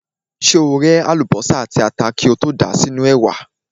Ṣé o ré àlùbọ́sà àti ata kí o tó dà wọ́n sínú ẹ̀wà?